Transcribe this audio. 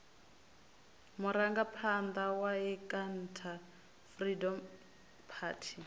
murangaphanḓa wa inkatha freedom party